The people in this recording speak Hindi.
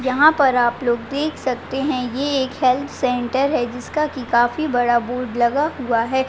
यहाँ पर आप लोग देख सकते हैं ये एक हेल्थ सेन्टर है जिसका कि काफी बड़ा बोर्ड लगा हुआ है।